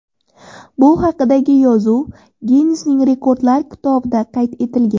Bu haqdagi yozuv Ginnesning rekordlar kitobida qayd etilgan.